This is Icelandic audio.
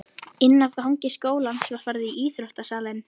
Inn af gangi skólans var farið í íþrótta- salinn.